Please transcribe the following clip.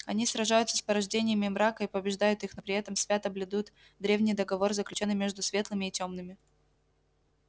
они сражаются с порождениями мрака и побеждают их но при этом свято блюдут древний договор заключённый между светлыми и тёмными